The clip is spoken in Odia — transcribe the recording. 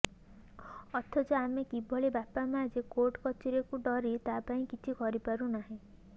ଅଥଚ ଆମେ କିଭଳି ବାପା ମାଆ ଯେ କୋର୍ଟ କଚେରିକୁ ଡରି ତା ପାଇଁ କିଛି କରିପାରୁ ନାହେଁ